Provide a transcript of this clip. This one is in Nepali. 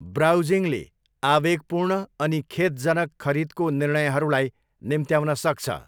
ब्राउजिङले आवेगपूर्ण अनि खेदजनक खरिदको निर्णयहरूलाई निम्त्याउन सक्छ।